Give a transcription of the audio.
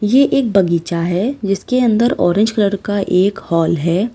ये एक बगीचा है जिसके अंदर ऑरेंज कलर का एक हाल है।